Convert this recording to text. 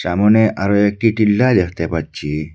সামনে আরও একটি টিল্ডাহ দেখতে পাচ্ছি।